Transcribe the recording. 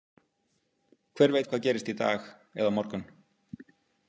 Hver veit hvað gerist í dag eða á morgun.